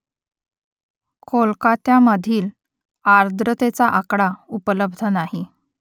कोलकात्यामधील आर्द्रतेचा आकडा उपलब्ध नाही